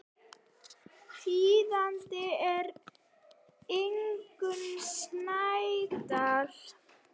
Þýðandi er Ingunn Snædal.